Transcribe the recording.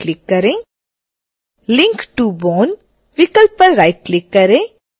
link to bone विकल्प पर click करें